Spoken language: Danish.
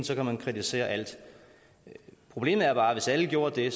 så kan man kritisere alt problemet er bare at hvis alle gjorde det